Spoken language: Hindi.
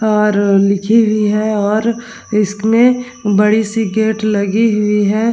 और अ लिखी हुई है। और इसमें बड़ी सी गेट लगी हुई है।